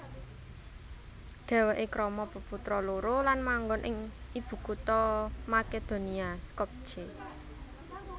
Dhèwèké krama peputra loro lan manggon ing ibukutha Makedonia Skopje